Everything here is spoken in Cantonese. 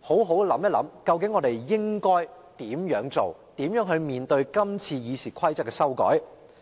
好好地想想，究竟應該如何行事，如何處理這次《議事規則》的修訂。